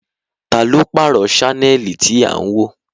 Taa ló pààrọ̀ sánẹ́ẹ̀lì tí à ń wò?